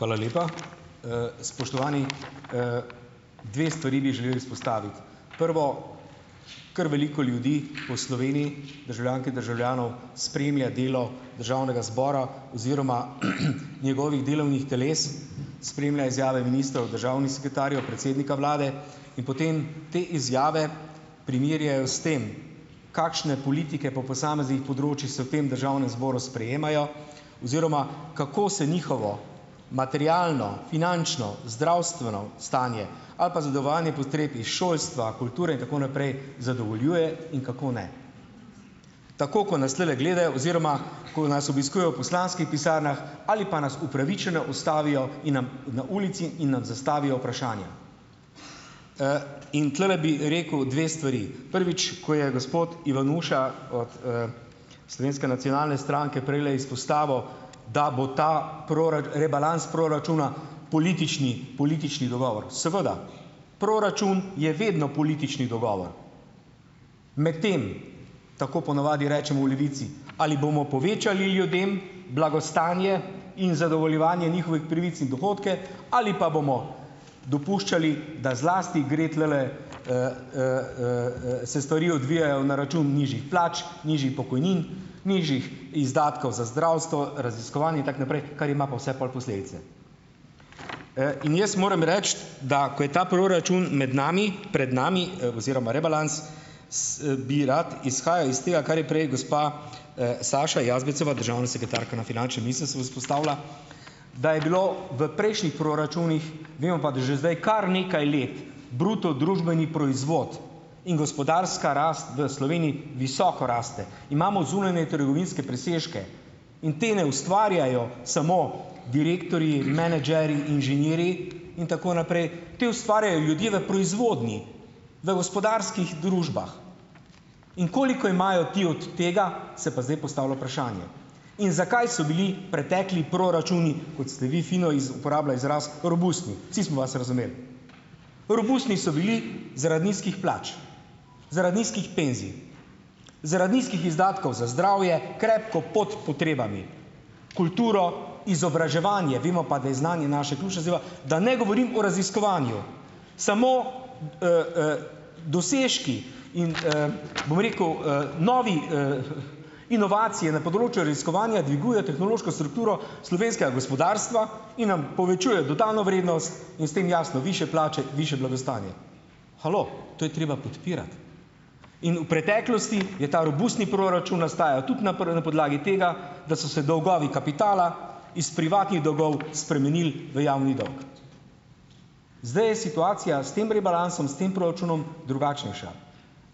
Hvala lepa, spoštovani, dve stvari bi želeli vzpostaviti, prvo, kar veliko ljudi po Sloveniji, državljank in državljanov, spremlja delo državnega zbora oziroma njegovih delovnih teles, spremlja izjave ministrov državnih sekretarjev, predsednika vlade in potem te izjave primerjajo s tem, kakšne politike po posameznih področjih se v tem državnem zboru sprejemajo oziroma kako se njihovo materialno, finančno, zdravstveno stanje ali pa zadovoljevanje potreb iz šolstva kulture in tako naprej zadovoljuje in kako ne. Tako ko nas tulele gledajo oziroma ko nas obiskujejo v poslanskih pisarnah ali pa nas upravičeno ustavijo in nam in na ulici in nam zastavijo vprašanje, in tulele bi rekel dve stvari, prvič, ko je gospod Ivanuša od, Slovenske nacionalne stranke prejle izpostavil, da bo ta rebalans proračuna politični, politični dogovor seveda, proračun je vedno politični dogovor, medtem tako ponavadi rečemo v Levici, ali bomo povečali ljudem blagostanje in zadovoljevanje njihovih pravic in dohodke ali pa bomo dopuščali, da zlasti gre tulele, se stvari odvijajo na račun nižjih plač, nižjih pokojnin nižjih izdatkov za zdravstvo raziskovanje in tako naprej, kar ima pa vse pol posledice, in jaz moram reči, da ko je ta proračun med nami, pred nami oziroma rebalans, bi rad izhajal iz tega, kar je prej gospa, Saša Jazbečeva državna sekretarka na finančnem ministrstvu izpostavila, da je bilo v prejšnjih proračunih, vemo pa, da že zdaj kar nekaj let bruto družbeni proizvod in gospodarska rast v Sloveniji visoko raste, imamo zunanje trgovinske presežke in te ne ustvarjajo samo direktorji, menedžerji, inženirji in tako naprej, te ustvarjajo ljudje v proizvodnji, v gospodarskih družbah, in koliko imajo ti od tega, se pa zdaj postavlja vprašanje, in zakaj so bili pretekli proračuni, kot ste vi fino uporabila izraz, robustni, vsi smo vas razumeli, robustni so bili zaradi nizkih plač, zaradi nizkih penzij, zaradi nizkih izdatkov za zdravje krepko pod potrebami, kulturo, izobraževanje, vemo pa, da je znanje, da ne govorim o raziskovanju, samo, dosežki in, bom rekel, novi, inovacije na področju raziskovanja dvigujejo tehnološko strukturo slovenskega gospodarstva in nam povečujejo dodano vrednost in s tem jasno višje plače, višje blagostanje. Halo, to je treba podpirati in v preteklosti je ta robustni proračun nastajal tudi na na podlagi tega, da so se dolgovi kapitala iz privatnih dolgov spremenil v javni dolg, zdaj je situacija s tem rebalansom, s tem proračunom drugačnejša,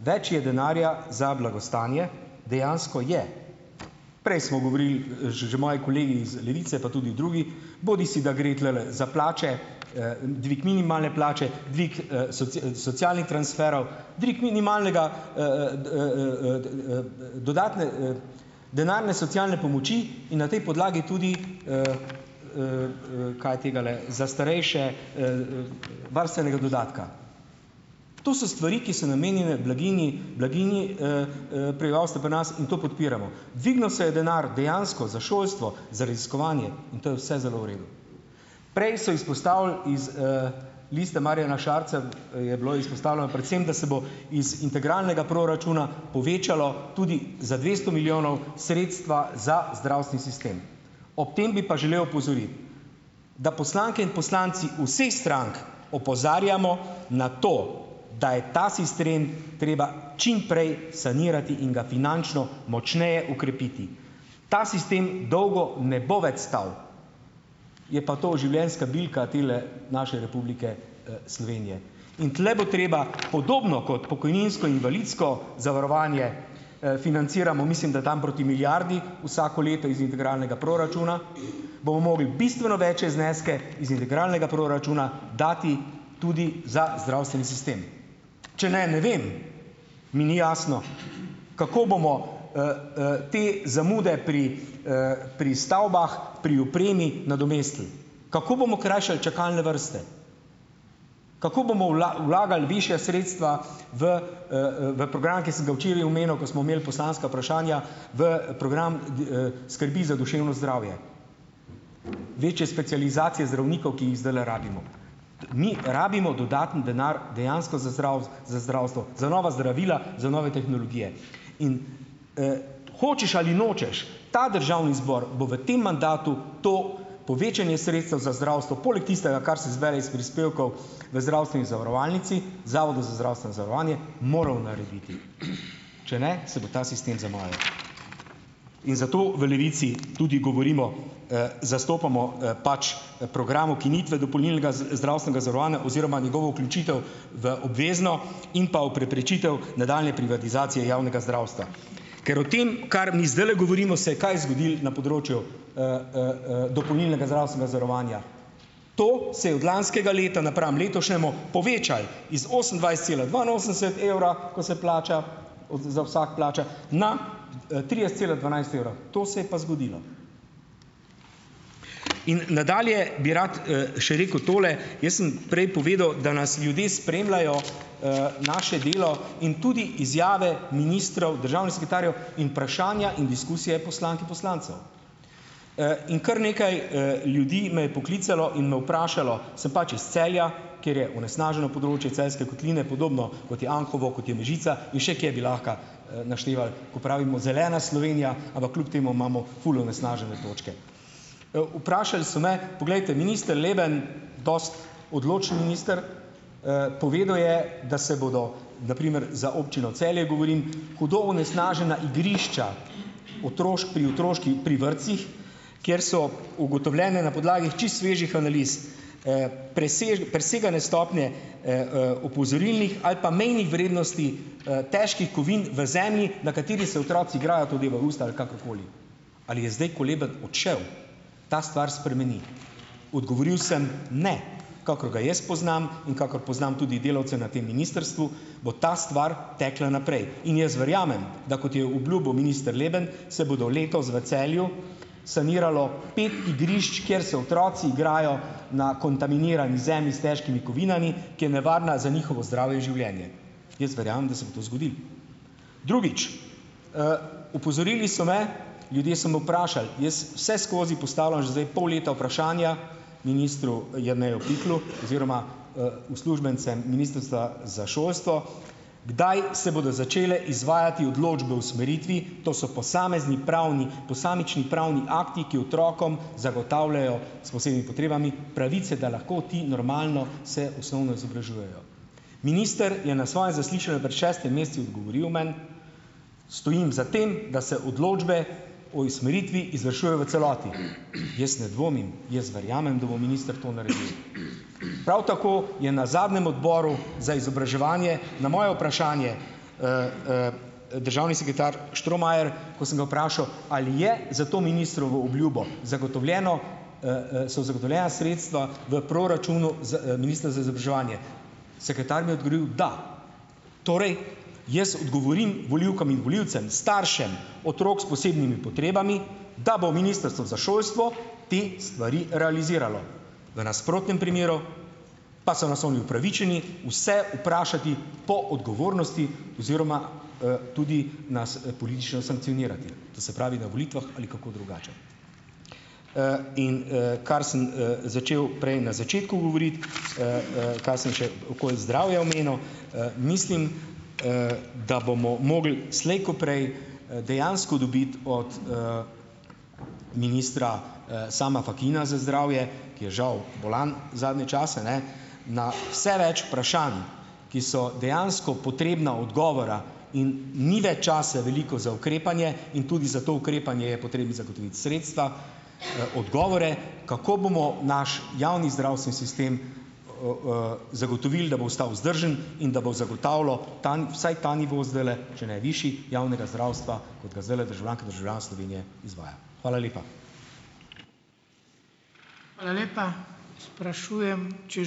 več je denarja za blagostanje, dejansko je, prej smo govorili, že moji kolegi iz Levice pa tudi drugi, bodisi da gre tulele za plače, dvig minimalne plače, dvig socialnih transferov, trik minimalnega, dodatne, denarne socialne pomoči in na tej podlagi tudi, kaj je tegale za starejše, varstvenega dodatka, to so stvari, ki so namenjene blaginji, blaginji, prebivalstva pri nas in to podpiramo, dvignil se je denar dejansko za šolstvo, za raziskovanje in to je vse zelo v redu, prej so izpostavili iz, Liste Marjana Šarca, je bilo izpostavljeno predvsem, da se bo iz integralnega proračuna povečalo tudi za dvesto milijonov sredstva za zdravstveni sistem, ob tem bi pa želel opozoriti, da poslanke in poslanci vseh strank opozarjamo na to, da je ta sistem treba čimprej sanirati in ga finančno močneje okrepiti, ta sistem dolgo ne bo več stal, je pa to življenjska bilka tele naše Republike, Slovenije in tule bo treba podobno kot pokojninsko invalidsko zavarovanje, financiramo, mislim, da tam proti milijardi, vsako leto iz integralnega proračuna bomo mogli bistveno večje zneske iz integralnega proračuna dati tudi za zdravstveni sistem, če ne ne vem, mi ni jasno, kako bomo, te zamude pri, pri stavbah, pri opremi nadomestili, kako bomo krajšali čakalne vrste, kako bomo vlagali višja sredstva v, v program, ki sem ga včeraj omenil, ko smo imeli poslanska vprašanja v program, skrbi za duševno zdravje, večje specializacije zdravnikov, ki jih zdajle rabimo, mi rabimo dodaten denar dejansko za za zdravstvo, za nova zdravila, za nove tehnologije, in, hočeš ali nočeš, ta državni zbor bo v tem mandatu to povečanje sredstev za zdravstvo poleg tistega, kar se zbere iz prispevkov v zdravstveni zavarovalnici, zavodu za zdravstveno zavarovanje moral narediti, če ne se bo ta sistem zamajal, in zato v Levici tudi govorimo, zastopamo, pač program ukinitve dopolnilnega zdravstvenega zavarovanja oziroma njegovo vključitev v obvezno in pa v preprečitev nadaljnje privatizacije javnega zdravstva, ker o tem, kar mi zdajle govorimo, se je kaj zgodilo na področju, dopolnilnega zdravstvenega zavarovanja, to se je od lanskega leta napram letošnjemu povečalo iz osemindvajset cela dva na osemdeset evra, ko se plača za vsako plača, na trideset cela dvanajst evrov, to se je pa zgodilo in nadalje bi rad, še rekel tole. Jaz sem prej povedal, da nas ljudje spremljajo, naše delo in tudi izjave ministrov, državnih sekretarjev, in vprašanja in diskusije poslank in poslancev, in kar nekaj, ljudi me je poklicalo in vprašalo, sem pač iz Celja, kjer je onesnaženo področje Celjske kotline, podobno kot je Anhovo, kot je Mežica in še kje bi lahko, našteval, ko pravimo zelena Slovenija, ampak kljub temu imamo ful onesnažene točke, vprašali so me, poglejte, minister Leben, dosti odločen minister, povedal je, da se bodo, na primer za občino Celje govorim, hudo onesnažena igrišča pri otroških pri vrtcih, kjer so ugotovljene na podlagi čisto svežih analiz, presegale stopnje, opozorilnih ali pa mejnih vrednosti, težkih kovin v zemlji, na kateri se otroci igrajo, to devajo v usta ali kakorkoli, ali je zdaj, ko Leben odšel, ta stvar spremeni, odgovoril sem: "Ne, kakor ga jaz poznam in kakor poznam tudi delavce na tem ministrstvu, bo ta stvar tekla naprej in jaz verjamem, da kot je obljubil minister Leben, se bodo letos v Celju saniralo pet igrišč, kjer se otroci igrajo na kontaminirani zemlji s težkimi kovinami, ki je nevarna za njihovo zdravje in življenje, jaz verjamem, da se bo to zgodilo." Drugič, opozorili so me, ljudje so me vprašali, jaz vse skozi postavljam že zdaj pol leta vprašanja ministru Jerneju Pikalu oziroma, uslužbencem ministrstva za šolstvo, kdaj se bodo začele izvajati odločbe o usmeritvi, to so posamezni pravni posamični pravni akti, ki otrokom zagotavljajo s posebnimi potrebami pravice, da lahko ti normalno se osnovno izobražujejo, minister je na svojem zaslišanju pred šestimi meseci odgovoril meni: "Stojim za tem, da se odločbe o usmeritvi izvršujejo v celoti jaz ne dvomim, jaz verjamem, da bo minister to naredil." Prav tako je na zadnjem odboru za izobraževanje na moje vprašanje, državni sekretar Štromajer, ko sem ga vprašal, ali je za to ministrovo obljubo zagotovljeno, so zagotovljena sredstva v proračunu ministra za izobraževanje, sekretar mi je odgovoril, da torej jaz odgovorim volivkam in volivcem, staršem otrok s posebnimi potrebami, da bo ministrstvo za šolstvo te stvari realiziralo, v nasprotnem primeru pa so nas oni upravičeni vse vprašati po odgovornosti oziroma, tudi nas politično sankcionirati, to se pravi, na volitvah ali kako drugače, in, kar sem, začel prej na začetku govoriti, kaj sem še okoli zdravja omenil, mislim, da bomo mogli slej ko prej, dejansko dobiti od, ministra, Sama Fakina za zdravje, ki je žal bolan zadnje čase, ne, na vse več vprašanj, ki so dejansko potrebna odgovora, in ni več časa veliko za ukrepanje in tudi za to ukrepanje je potrebno zagotoviti sredstva, odgovore, kako bomo naš javni zdravstveni sistem, zagotovil, da ostal vzdržen in da bo zagotavljal vsaj ta nivo zdajle, če ne višji javnega zdravstva, kot ga zdajle državljanke in državljan Slovenije izvaja. Hvala lepa. Hvala lepa. Sprašujem, če ...